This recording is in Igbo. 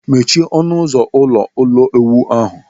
Mechie ọnụ ụzọ ụlọ ulo uwu ahụ.